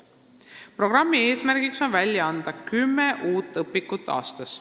Programmi eesmärk on välja anda kümme uut õpikut aastas.